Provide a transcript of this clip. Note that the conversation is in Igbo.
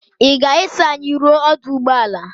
Ị ga-eso anyị ruo ọdụ ụgbọala?